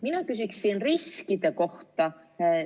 Mina küsin riskide kohta.